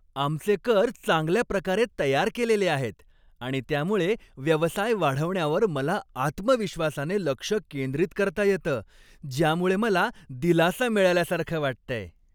आमचे कर चांगल्या प्रकारे तयार केलेले आहेत आणि त्यामुळे व्यवसाय वाढवण्यावर मला आत्मविश्वासाने लक्ष केंद्रित करता येतं, ज्यामुळे मला दिलासा मिळाल्यासारखं वाटतंय.